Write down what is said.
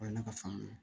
O ye ne ka faamu ye